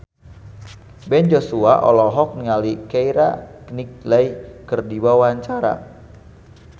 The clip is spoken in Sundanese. Ben Joshua olohok ningali Keira Knightley keur diwawancara